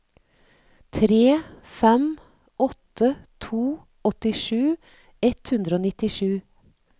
tre fem åtte to åttisju ett hundre og nittisju